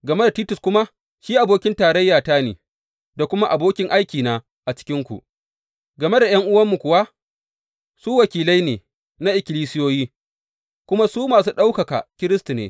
Game da Titus kuma, shi abokin tarayyata ne, da kuma abokin aikina a cikinku; game da ’yan’uwanmu kuwa, su wakilai ne na ikkilisiyoyi, kuma su masu ɗaukaka Kiristi ne.